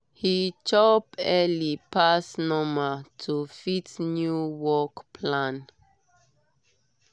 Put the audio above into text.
he chop early pass normal to fit new work plan.